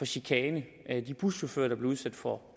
chikane de buschauffører der bliver udsat for